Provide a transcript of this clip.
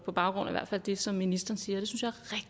på baggrund af det som ministeren siger